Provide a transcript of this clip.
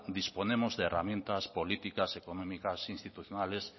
disponemos de herramientas políticas económicas e institucionales